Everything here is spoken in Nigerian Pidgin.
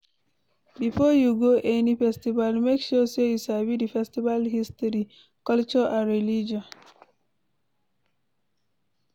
Before you go any festival make sure say you sabi di festival history, culture and religion